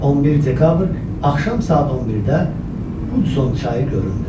11 dekabr axşam saat 11-də Hudzon çayı göründü.